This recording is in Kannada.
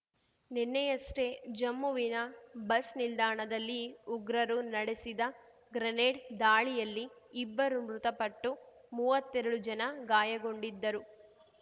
ನಿನ್ನೆಯಷ್ಟೇ ಜಮ್ಮುವಿನ ಬಸ್ ನಿಲ್ದಾಣದಲ್ಲಿ ಉಗ್ರರು ನಡೆಸಿದ ಗ್ರೆನೇಡ್ ದಾಳಿಯಲ್ಲಿ ಇಬ್ಬರು ಮೃತಪಟ್ಟು ಮೂವತ್ತೆರಡು ಜನ ಗಾಯಗೊಂಡಿದ್ದರು